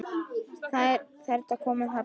Strætó er að koma þarna!